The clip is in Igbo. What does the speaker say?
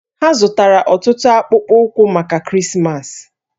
Ha zụtara ọtụtụ akpụkpọ ụkwụ maka Krismas